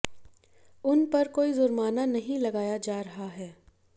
उन पर कोई जुर्माना नहीं लगाया जा रहा है